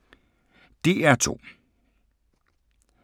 DR2